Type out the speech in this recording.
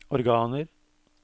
organer